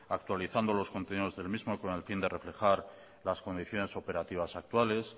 actualizando los contenidos del mismo con el fin de reflejar las condiciones operativas actuales